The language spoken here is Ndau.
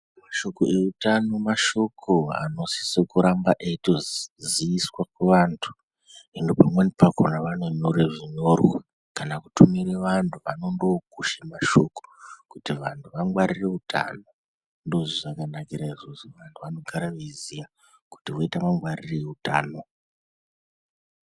Mashoko eutano mashoko anosisa kurambe eitoziiswa kuvantu. Hino pamweni pakona vanonyire zvinyorwa kana kutumire vantu vanondokushe mashoko kuti vantu vangwarire utano. Ndozvazvakanakira izvozvo vantu vanogara veiziya kuti voita mangwarirei utano.